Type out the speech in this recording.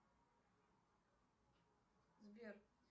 сбер